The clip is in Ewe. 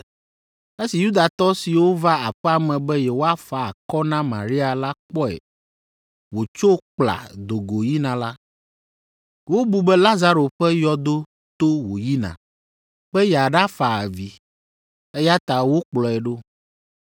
Esi Yudatɔ siwo va aƒea me be yewoafa akɔ na Maria la kpɔe wòtso kpla do go yina la, wobu be Lazaro ƒe yɔdo to wòyina be yeaɖafa avi, eya ta wokplɔe ɖo.